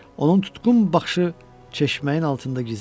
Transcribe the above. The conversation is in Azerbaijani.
Onun tutqun baxışı çeşməyin altında gizləndi.